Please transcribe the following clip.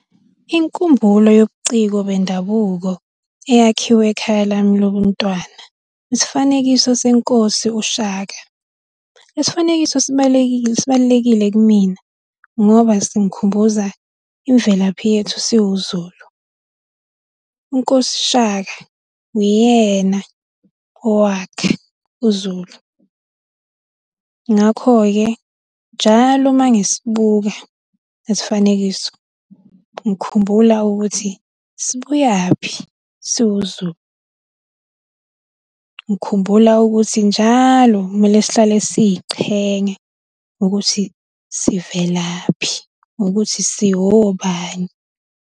Inkumbulo yobuciko bendabuko eyakhiwe ekhaya lami lobuntwana, isifanekisa senkosi uShaka. Isifanekiso sibalulekile kumina, ngoba singikhumbuza imvelaphi yethu siwuZulu. Unkosi Shaka uyena owakha uZulu. Ngakho-ke, njalo uma ngisibuka lesi sifanekiso, ngikhumbula ukuthi sibuyaphi siwuZulu. Ngikhumbula ukuthi njalo kumele sihlale siy'qhenya ngokuthi, sivelaphi, ngokuthi siwobani.